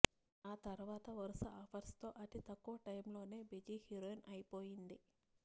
ఆ తర్వాత వరుస ఆఫర్స్ తో అతి తక్కువ టైంలోనే బిజీ హీరోయిన్ అయిపొయింది